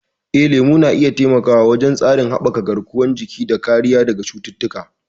Eh, lemu na iya taimakawa wajen haɓaka tsarin garkuwar jiki da kariya daga cututtuka.